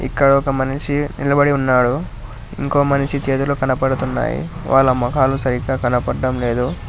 ఇక్కడ ఒక మనిషి నిలబడి ఉన్నాడు ఇంకో మనిషి చేతులు కనపడుతున్నాయి వాళ్ళ మొఖాలు సరిగ్గా కనబడ్డం లేదు.